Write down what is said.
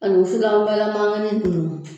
Ani wusulan balanmanganin ninnu.